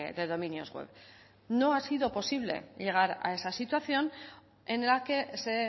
de dominios web no ha sido posible llegar a esa situación en la que se